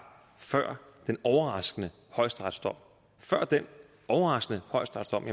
før den overraskende højesteretsdom før den overraskende højesteretsdom